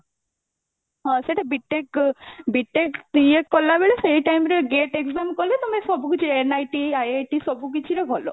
ହଁ ସେଟା B.TECH ଅ B.TECH ଇଏ କଲାବେଳେ ସେଇ time ରେ GATE exam କଲେ ତମେ ସବୁକିଛି NIT IIT ସବୁକିଛି ର ଭଲ